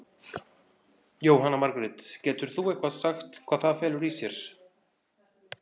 Jóhanna Margrét: Getur þú eitthvað sagt hvað það felur í sér?